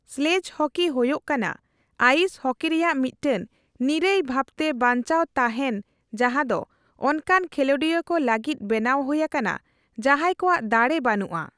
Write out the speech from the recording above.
Sledge hockey ᱦᱳᱭᱚᱜ ᱠᱟᱱᱟ ice hockey ᱨᱮᱭᱟᱜ ᱢᱤᱫᱴᱟᱝ ᱱᱤᱨᱟᱹᱭ ᱵᱷᱟᱵᱛᱮ ᱵᱟᱧᱪᱟᱣ ᱛᱟᱦᱮᱱ ᱡᱟᱦᱟᱸ ᱫᱚ ᱚᱱᱠᱟᱱ ᱠᱷᱤᱞᱳᱸᱰᱤᱭᱟᱹ ᱠᱚ ᱞᱟᱹᱜᱤᱫ ᱵᱮᱱᱟᱣ ᱦᱳᱭ ᱟᱠᱟᱱᱟ ᱡᱟᱦᱟᱸᱭ ᱠᱚᱣᱟᱜ ᱫᱟᱲᱮᱹ ᱵᱟᱱᱩᱜᱼᱟ ᱾